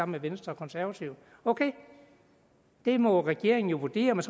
med venstre og konservative ok det må regeringen jo vurdere er